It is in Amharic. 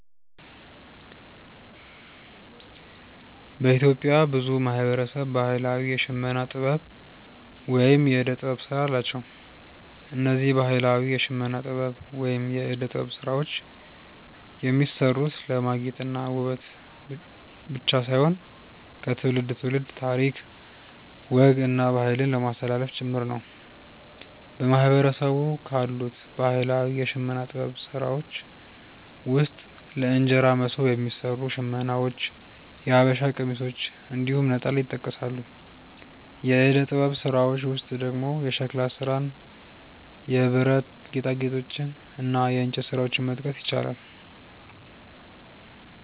በኢትዮጵያ ብዙ ማህበረሰብ ባህላዊ የሽመና ጥበብ ወይም የእደ ጥበብ ስራ አላቸው። እነዚህ ባህላዊ የሽመና ጥበብ ወይም የእደ ጥበብ ስራዎች የሚሰሩት ለማጌጥ እና ውበት ብቻ ሳይሆን ከትውልድ ትውልድ ታሪክ፣ ወግ እና ባህልን ለማስተላለፍ ጭምር ነው። በማህበረሰቡ ካሉት ባህላዊ የሽመና ጥበብ ስራዎች ውስጥ ለእንጀራ መሶብ የሚሰሩ ሽመናዎች፣ የሐበሻ ቀሚሶች እንዲሁም ነጠላ ይጠቀሳሉ። የእደ ጥበብ ስራዎች ውስጥ ደግሞ የሸክላ ስራን፣ የብረት ጌጣጌጦችን እና የእንጨት ስራዎችን መጥቀስ ይቻላል።